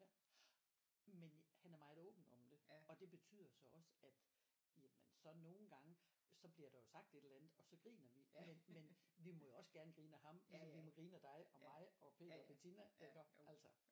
Ja men han er meget åben om det og det betyder så også at jamen så nogle gange så bliver der jo sagt et eller andet og så griner vi men men vi må jo også gerne grine af ham ligesom vi må grine af dig og mig og Peter og Betina iggå altså